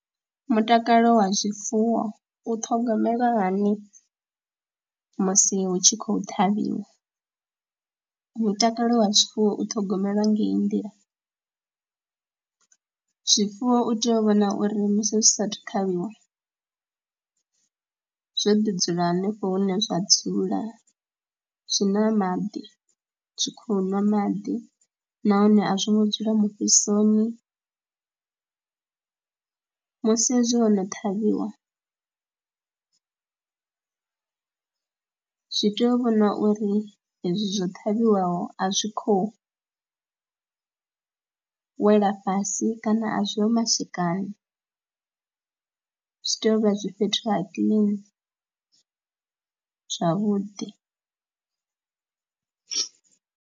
Mutakalo wa zwifuwo u ṱhogomelwa hani musi hu tshi khou ṱhavhiwa, mutakalo wa zwifuwo u ṱhogomelwa ngei nḓila, zwifuwo u tea u vhona uri musi zwi saathu u tavhiwa zwo ḓi dzula hanefho hune zwa dzula. Zwi na maḓi, zwi khou ṅwa maḓi nahone a zwo ngo dzula mufhisoni musi hezwi ho no ṱhavhiwa zwi tea u vhonwa uri hezwi zwo ṱhavheliwaho a zwi khou wela fhasi kana a zwi ho matshikani, zwi tea u vha zwi fhethu ha kiḽini zwavhuḓi.